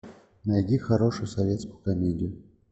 найди хорошую советскую комедию